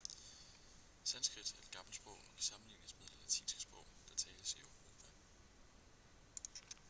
sanskrit er et gammelt sprog og kan sammenlignes med det latinske sprog der tales i europa